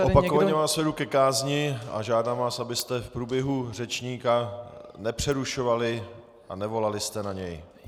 Opakovaně vás vedu ke kázni a žádám vás, abyste v průběhu řečníka nepřerušovali a nevolali jste na něj.